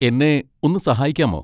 എന്നെ ഒന്ന് സഹായിക്കാമോ?